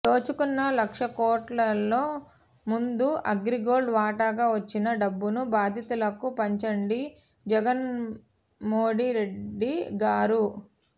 దోచుకున్న లక్ష కోట్లలో ముందు అగ్రిగోల్డ్ వాటాగా వచ్చిన డబ్బును బాధితులకు పంచండి జగన్ మోడీ రెడ్డి గారు